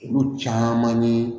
Olu caman ye